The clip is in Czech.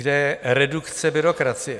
Kde je redukce byrokracie?